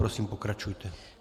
Prosím, pokračujte.